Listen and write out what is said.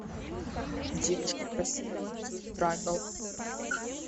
девушка красивая танцует трайбл